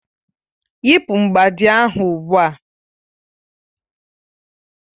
Yị́pu mgbájí ahụ ugbu a!